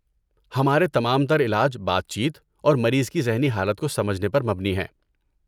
ہمارے تمام تر علاج بات چیت اور مریض کی ذہنی حالت کو سمجھنے پر مبنی ہیں۔